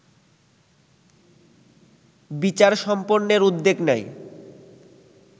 বিচার সম্পন্নের উদ্যোগ নেয়